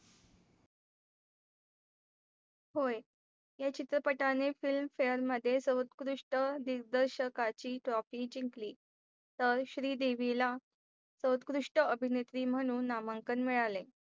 होय या चित्रपटाने Fein Fail मध्ये सर्वोत्कृष्ट दिग्दर्शकाची trophy जिंकली तर श्रीदेवीला सर्वोत्कृष्ट अभिनेत्री म्हणून नामांकन मिळाले.